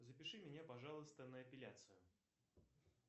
запиши меня пожалуйста на эпиляцию